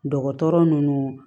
Dɔgɔtɔrɔ ninnu